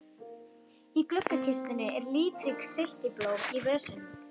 Í gluggakistunni eru litrík silkiblóm í vösum.